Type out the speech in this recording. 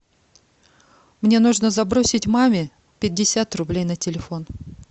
мне нужно забросить маме пятьдесят рублей на телефон